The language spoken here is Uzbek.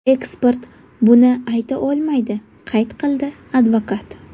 Ekspert buni ayta olmaydi”, qayd qildi advokat.